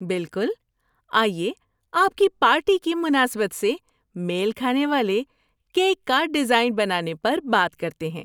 بالکل! آئیے آپ کی پارٹی کی مناسبت سے میل کھانے والے کیک کا ڈیزائن بنانے پر بات کرتے ہیں۔